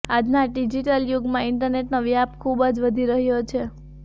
આજના ડિજિટલ યુગમાં ઈન્ટરનેટનો વ્યાપ ખૂબ જ વધી રહ્યો છે